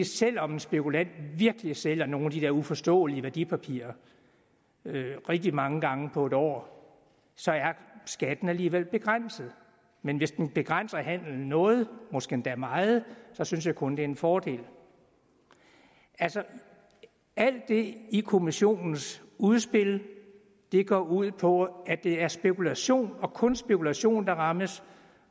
selv om en spekulant virkelig sælger nogle af de der uforståelige værdipapirer rigtig mange gange på en år så er skatten alligevel begrænset men hvis den begrænser handelen noget måske endda meget så synes jeg kun det er en fordel altså alt det i kommissionens udspil går ud på at det er spekulation og kun spekulation der rammes